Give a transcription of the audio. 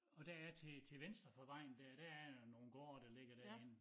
Og der er til til venstre for vejen dér der er jo nogen gårde der ligger derinde